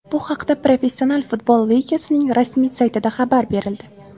Bu haqda Professional futbol ligasining rasmiy saytida xabar berildi .